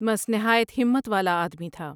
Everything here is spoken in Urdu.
مس نہایت ہمت والا آدمی تھا ۔